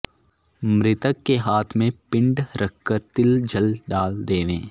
मृतक के हाथ में पिण्ड रखकर तिल जल डाल देवे